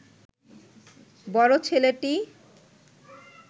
বড় ছেলেটি